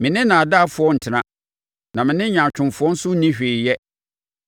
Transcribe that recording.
Me ne nnaadaafoɔ ntena na me ne nyaatwomfoɔ nso nni hwee yɛ.